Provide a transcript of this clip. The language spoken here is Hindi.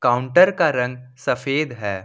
काउंटर का रंग सफेद है।